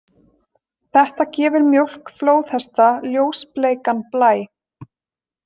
Þetta gefur mjólk flóðhesta ljósbleikan blæ.